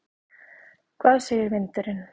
Hvað segir vindurinn?